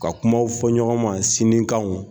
Ka kumaw fɔ ɲɔgɔnnan sinikanw